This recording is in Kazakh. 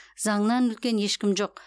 заңнан үлкен ешкім жоқ